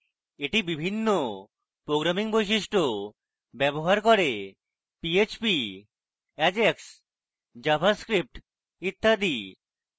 এটি বিভিন্ন programming বৈশিষ্ট্য ব্যবহার করে php ajax javascript ইত্যাদি